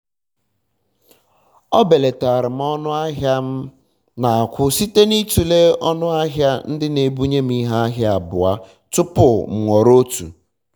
e belatara m ọnụ ahịa m na akwụ site na itule ọnụ ahịa ndị na ebunye m ihe ahịa abụọ tụpụ m họrọ otu